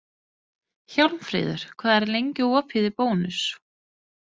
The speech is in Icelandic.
Hjálmfríður, hvað er lengi opið í Bónus?